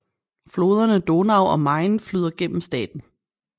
Floderne Donau og Main flyder gennem staten